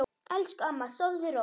Elsku amma, sofðu rótt.